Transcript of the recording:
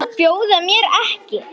Að bjóða mér ekki.